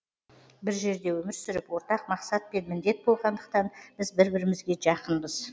бір жерде өмір сүріп ортақ мақсат пен міндет болғандықтан біз бір бірімізге жақынбыз